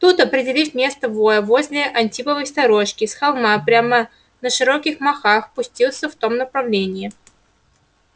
тут определив место воя возле антиповой сторожки с холма прямо на широких махах пустился в том направлении